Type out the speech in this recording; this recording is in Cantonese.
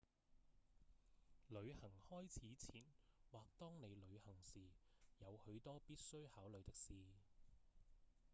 旅行開始前或當你旅行時有許多必須考慮的事